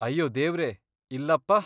ಅಯ್ಯೋ ದೇವ್ರೇ, ಇಲ್ಲಪ್ಪ!